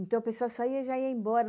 Então, a pessoa saía e já ia embora.